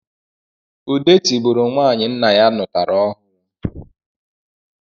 Ude tibụrụ nwanyị nna ya nụtara ọhụrụ